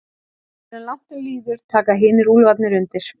Áður en langt um líður taka hinir úlfarnir undir.